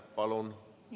Palun!